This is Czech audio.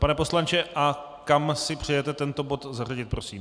Pane poslanče, a kam si přejete tento bod zařadit, prosím?